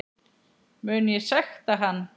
Mun ég sekta hann?